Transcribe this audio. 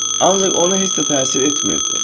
Ancaq ona heç də təsir etmirdi.